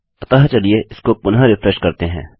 अतः चलिए इसको पुनः रिफ्रेश करते हैं